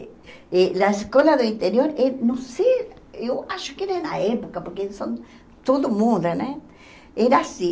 E a escola do interior é não sei, eu acho que era na época, porque são todo muda né era assim.